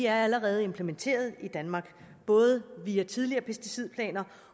er allerede implementeret i danmark både via tidligere pesticidplaner